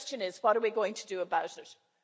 The question is what we are going to do about it?